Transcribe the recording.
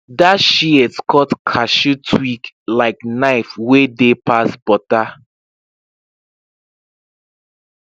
that shears cut cashew twig like knife wey dey pass butter